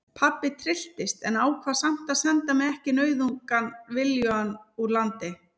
Pabbi trylltist en ákvað samt að senda mig ekki nauðugan viljugan úr landi.